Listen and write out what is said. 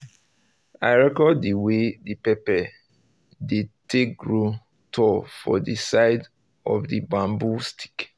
i record the way the pepper dey take grow tall for the side of the bamboo stick